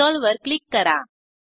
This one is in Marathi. इन्स्टॉल वर क्लिक करा